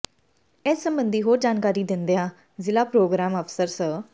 ਇਸ ਸਬੰਧੀ ਹੋਰ ਜਾਣਕਾਰੀ ਦਿੰਦਿਆਂ ਜ਼ਿਲਾ ਪ੍ਰੋਗਰਾਮ ਅਫ਼ਸਰ ਸ